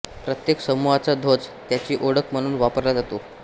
प्रत्येक समुहाचा ध्वज त्याची ओळख म्हणून वापरला जातो